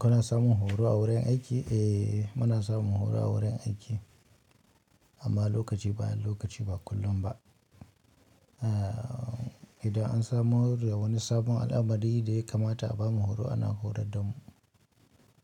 Kana samun horo a wurin aiki? Eh, muna samun horo a wurin aiki, amma lokaci bayan lokaci ba kullum ba. Idan an samo da wani sabonbal'amari da ya kamata a bamu horo ana horar da mu.